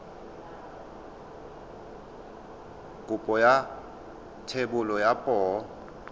kopo ya thebolo ya poo